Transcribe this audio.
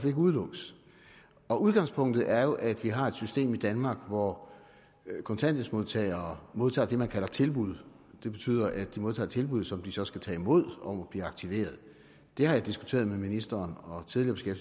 ikke udelukkes udgangspunktet er jo at vi har et system i danmark hvor kontanthjælpsmodtagere modtager det man kalder et tilbud det betyder at de modtager et tilbud som de så skal tage imod om at blive aktiveret det har jeg diskuteret med ministeren og tidligere